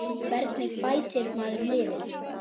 Hvernig bætir maður liðið?